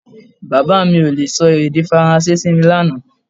Bàbá mi ò le sọ èdè Faransé sí mi lánàá